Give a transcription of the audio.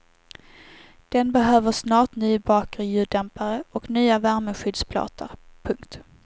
Den behöver snart ny bakre ljuddämpare och nya värmeskyddsplåtar. punkt